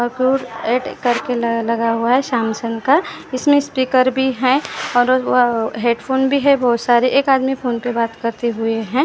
add करके लगा हुआ है सैमसंग का इसमें स्पीकर भी है और अ हेडफोन भी है बहुत सारे एक आदमी फोन पे बात करते हुए हैं--